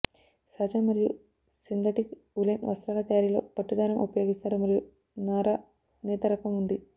సహజ మరియు synthetic woollen వస్త్రాల తయారీలో పట్టు దారం ఉపయోగిస్తారు మరియు నార నేత రకం ఉంది